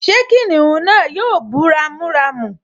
Ṣé kìnìún náà yóò bú ramúramù?